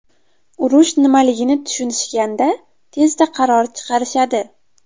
Urush nimaligini tushunishganda tezda qaror chiqarishadi.